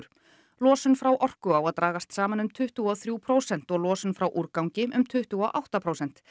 losun frá orku á að dragast saman um tuttugu og þrjú prósent og losun frá úrgangi um tuttugu og átta prósent